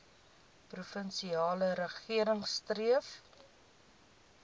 provinsiale regering streef